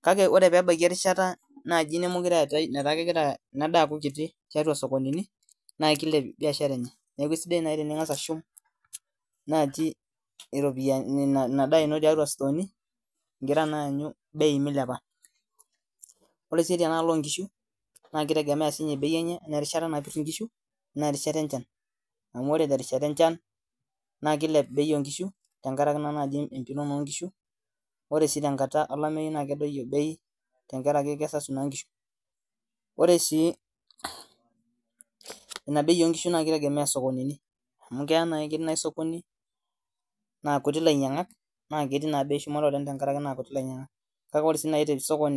kake ore pebaiki erishata naaji nemokire eetae netaa kegira ina daa aaku kiti tiatua isokonini naa kilep biashara enye niaku eisidai naaaji ening'as ashum naaji iropia ina daa ino tiatua istooni igira naa aanyu bei milepa ore sii tenaalo onkishu na kitegemea siinye bei enye erishata napirr inkishu enaa erishata enchan amu ore terishata enchan naa kilep bei onkishu tenkarake naa naai empiron onkishu ore sii tenkata olamei naa kedoyio bei tenkarake kesasu naa inkishu ore sii ina bei onkishu naa kitegemea isokonini amu keya naai ketii naai sokoni naa kuti ilainyiang'ak naa ketii naa bei shumata oleng tenkarake naa kuti ilainyinag'ak kake ore sii naai tesokoni.